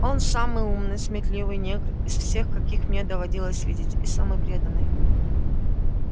он самый умный сметливый негр из всех каких мне доводилось видеть и самый преданный